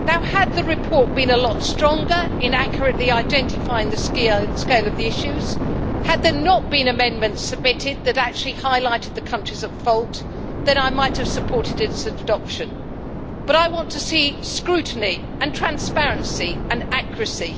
Had the report been a lot stronger in accurately identifying the scale of the issues, and had there not been amendments submitted that actually highlighted the countries at fault, then I might have supported its adoption, but I want to see scrutiny, transparency and accuracy.